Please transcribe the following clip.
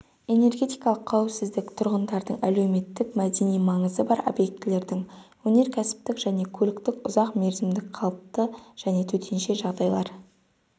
энергетикалық қауіпсіздік тұрғындардың әлеуметтік-мәдени маңызы бар объектілердің өнеркәсіптің және көліктің ұзақ мерзімдік қалыпты және төтенше жағдайлар